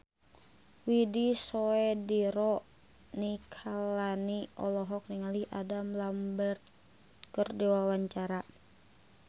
Widy Soediro Nichlany olohok ningali Adam Lambert keur diwawancara